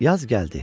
Yaz gəldi.